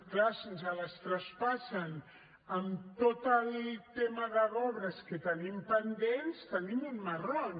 clar si ens les traspassen amb tot el tema d’obres que tenim pendents tenim un marrón